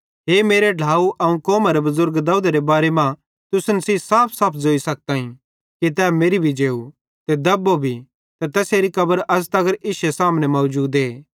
हे मेरे ढ्लाव अवं कौमारे बुज़ुर्ग दाऊदेरे बारे मां तुसन सेइं साफसाफ ज़ोई सकताईं कि तै मेरि भी जेव ते दब्बो भी ते तैसेरी कब्र अज़ तगर इश्शे सामने मौजूद